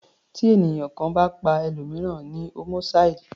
Tí ènìyàn kan bá pa ẹlòmìíràn ni homicide.